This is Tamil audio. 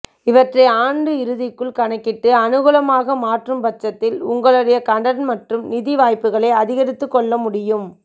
இவற்றை ஆண்டு இறுதிக்குள் கணக்கிட்டு அனுகூலமாக மாற்றும் பட்சத்தில் உங்களுடைய கடன் மற்றும் நிதி வாய்ப்புகளை அதிகரித்துக் கொள்ள முடியும்